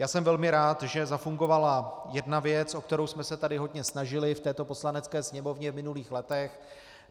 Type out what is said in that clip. Já jsem velmi rád, že zafungovala jedna věc, o kterou jsme se tady hodně snažili v této Poslanecké sněmovně v minulých letech.